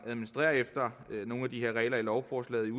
at administrere efter nogle af de her regler i lovforslaget